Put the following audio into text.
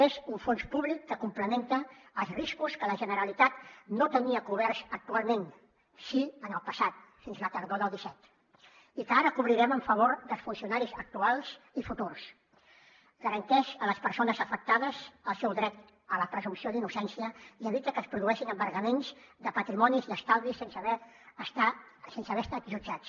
és un fons públic que complementa els riscos que la generalitat no tenia coberts actualment sí en el passat fins la tardor del disset i que ara cobrirem en favor dels funcionaris actuals i futurs garanteix a les persones afectades el seu dret a la presumpció d’innocència i evita que es produeixin embargaments de patrimonis i estalvis sense haver estat jutjats